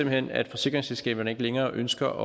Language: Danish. hen at forsikringsselskaberne ikke længere ønsker